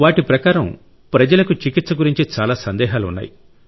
వాటి ప్రకారం ప్రజలకు చికిత్స గురించి చాలా సందేహాలు ఉన్నాయి